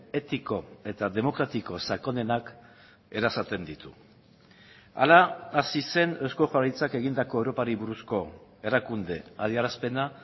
etiko eta demokratiko sakonenak erasaten ditu hala hasi zen eusko jaurlaritzak egindako europari buruzko erakunde adierazpena